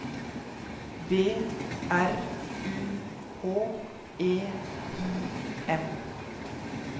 B R U H E I M